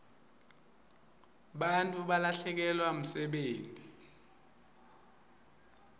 bantfu balahlekelwa msebenti